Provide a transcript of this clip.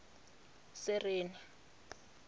sereni